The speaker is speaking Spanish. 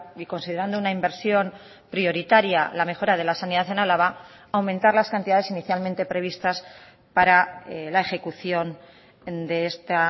y considerando una inversión prioritaria la mejora de la sanidad en álava aumentar las cantidades inicialmente previstas para la ejecución de esta